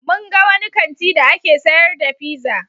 Mun ga wani kanti da ake sayar da pizza.